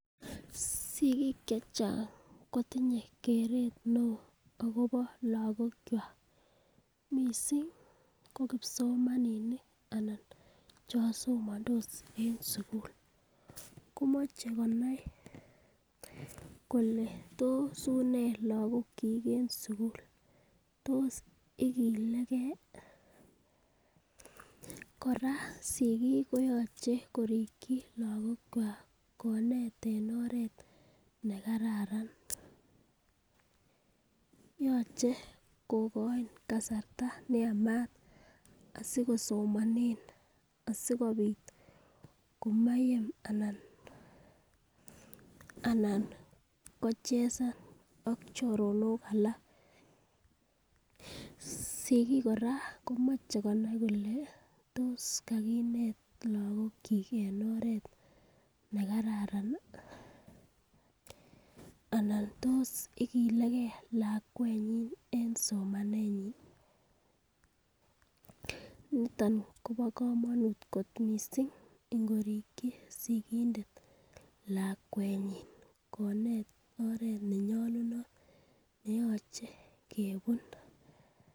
Sigiik chechang' kotinye keret neo akobo lagokwak ,missing ko kipsomaninik anan chon somandos en sugul, komoche konai kole tos unee lagokyik en sugul, tos igilegen ii, kora sigik koyoche korikyi lagokwak, koneet en oreet nekararan ,yoche kogoin kasarta neyamat asikosomanen asikobiit komayem anan kochesan ak choronok alaak ,sigiik kora komache konai kole tos kagineet lagokyik en oreet nekararan ii alan tos igilegei lakwanyin en somanenyin, niton ko bo komonut kot missing ingorikyi sigindet lakwenyin, koneet oreet nenyolunot neyoche kebun.